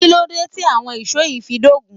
Kíló dé tí àwọn ìṣó yìí fi dógun?